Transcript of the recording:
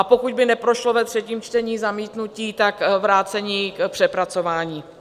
A pokud by neprošlo ve třetím čtení zamítnutí, tak vrácení k přepracování.